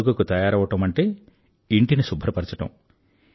పండుగకు తయారవడమంటే ఇంటిని శుభ్రపరచడం